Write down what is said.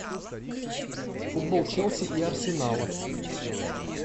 футбол челси и арсенала